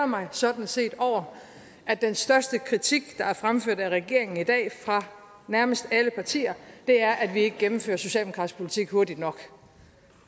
mig sådan set over at den største kritik der er fremført af regeringen i dag fra nærmest alle partier er at vi ikke gennemfører socialdemokratisk politik hurtigt nok